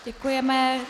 Děkujeme.